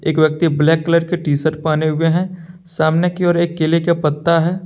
एक व्यक्ति black colour के टी शर्ट पहने हुए हैं सामने की ओर एक केले का पत्ता है।